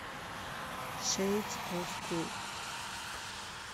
шэйдс оф кул